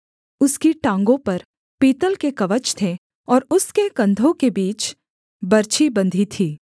उसकी टाँगों पर पीतल के कवच थे और उसके कंधों के बीच बरछी बंधी थी